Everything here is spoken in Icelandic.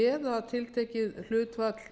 eða að tiltekið hlutfall